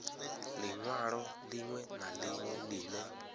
linwalo linwe na linwe line